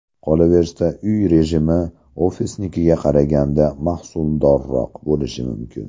Qolaversa, uy rejimi ofisnikiga qaraganda mahsuldorroq bo‘lishi mumkin.